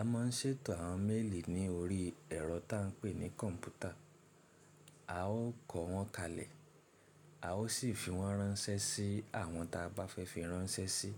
A máa ń ṣètò àwọn méèlì ní orí ẹ̀rọ tá ń pè ní kọ̀ǹpútà, a ó kọ wọn kalẹ̀, a ó sì fi wọ́n ránṣẹ́ sí àwọn ta bá fẹ́ fi ránṣẹ́ sí.